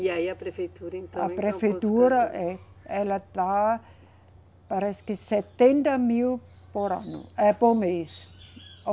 E aí a prefeitura então. A prefeitura, eh, ela dá, parece que setenta mil por ano, é por mês.